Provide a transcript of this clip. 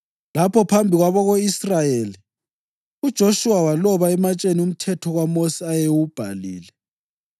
Lapho, phambi kwabako-Israyeli uJoshuwa waloba ematsheni umthetho kaMosi ayewubhalile.